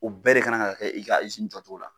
U bɛɛ de ka na ka kɛ i ka izini jɔ cogo la.